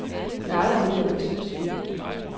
Der er aldrig nogen, der bliver søsyge.